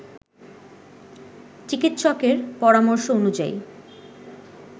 চিকিৎসকের পরামর্শ অনুযায়ী